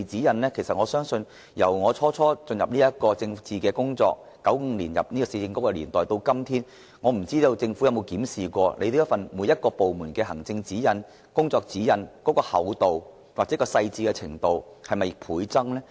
由我最初參與政治工作，於1995年加入市政局的年代開始，我不知政府有否留意每個部門的行政和工作指引的厚度或細緻程度是否倍增。